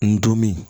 N donm